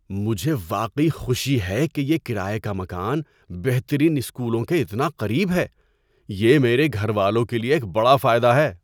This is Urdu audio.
مجھے واقعی خوشی ہے کہ یہ کرایے کا مکان بہترین اسکولوں کے اتنا قریب ہے۔ یہ میرے گھر والوں کے لیے ایک بڑا فائدہ ہے۔